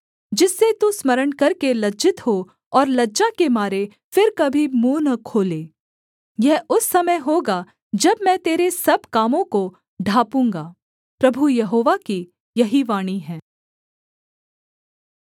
जिससे तू स्मरण करके लज्जित हो और लज्जा के मारे फिर कभी मुँह न खोले यह उस समय होगा जब मैं तेरे सब कामों को ढाँपूँगा प्रभु यहोवा की यही वाणी है